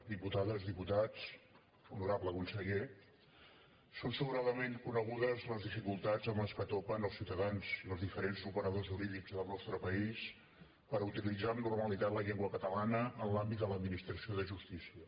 diputades diputats honorable conseller són sobradament conegudes les dificultats amb què topen els ciutadans i els diferents operadors jurídics del nostre país per utilitzar amb normalitat la llengua catalana en l’àmbit de l’administració de justícia